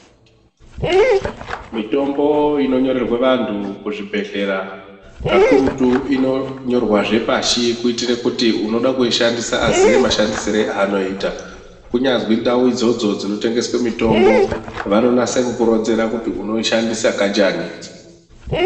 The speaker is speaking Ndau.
Mitombo inonyorerwe vantu kuzvibhehleya kakurutu inonyorwe zvepashi kuitire kuti unode kuishandisa aziye mashandisire anoita kunyazwi ndau idzodzo dzinotengeswe mitombo vanonase kukuronzera kuti unoishandisa kanjani